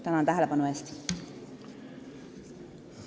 Tänan tähelepanu eest!